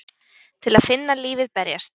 Til að finna lífið berjast.